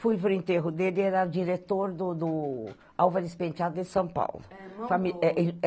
Fui para o enterro dele, era diretor do do Álvares Penteado de São Paulo.